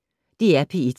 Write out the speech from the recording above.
DR P1